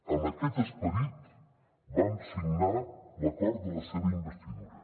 amb aquest esperit vam signar l’acord de la seva investidura